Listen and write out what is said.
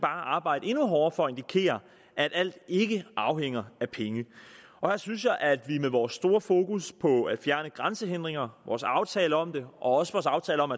arbejde endnu hårdere for at indikere at alt ikke afhænger af penge her synes jeg at vi med vores store fokus på at fjerne grænsehindringer vores aftale om det og også vores aftale om